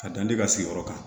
Ka dan tɛ ka sigiyɔrɔ kan